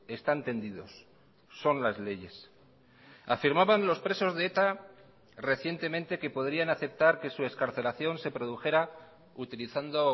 están tendidos son las leyes afirmaban los presos de eta recientemente que podrían aceptar que su excarcelación se produjera utilizando